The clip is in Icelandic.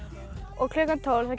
og klukkan tólf